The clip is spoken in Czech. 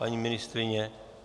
Paní ministryně?